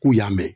K'u y'a mɛn